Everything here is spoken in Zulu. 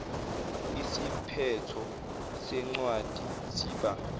isiphetho sencwadi siba